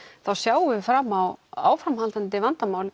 þá sjáum við fram á áframhaldandi vandamál